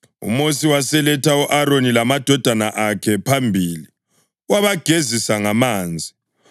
UMosi waseletha u-Aroni lamadodana akhe phambili, wabagezisa ngamanzi.